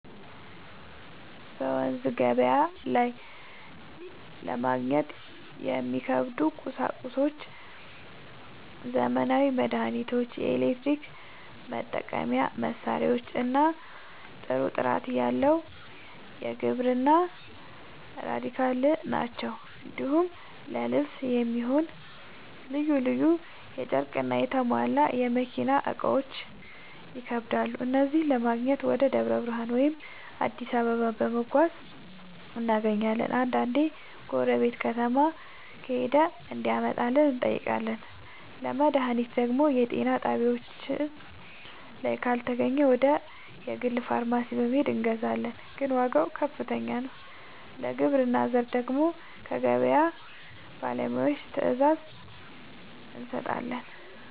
በመንዝ ገበያ ላይ ለማግኘት የሚከብዱ ቁሳቁሶች ዘመናዊ መድሃኒቶች፣ የኤሌክትሪክ መጠቀሚያ መሳሪያዎችና ጥሩ ጥራት ያለው የግብርና ᛢል ናቸው። እንዲሁም ለልብስ የሚሆን ልዩ ልዩ ጨርቅና የተሟላ የመኪና እቃዎች ይከብዳሉ። እነዚህን ለማግኘት ወደ ደብረ ብርሃን ወይም አዲስ አበባ በመጓዝ እናገኛለን፤ አንዳንዴ ጎረቤት ከተማ ከሄደ እንዲያመጣልን እንጠይቃለን። ለመድሃኒት ደግሞ የጤና ጣቢያችን ላይ ካልተገኘ ወደ ግል ፋርማሲ በመሄድ እናመጣለን፤ ግን ዋጋው ከፍተኛ ነው። ለግብርና ዘር ደግሞ ከገበያ ባለሙያዎች ትዕዛዝ እንሰጣለን።